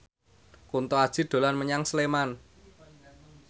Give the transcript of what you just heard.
Kunto Aji dolan menyang Sleman